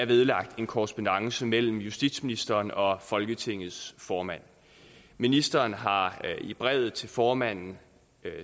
vedlagt en korrespondance mellem justitsministeren og folketingets formand ministeren har i brevet til formanden